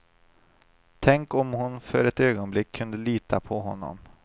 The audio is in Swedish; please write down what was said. Tänk om hon för ett ögonblick kunde lita på honom.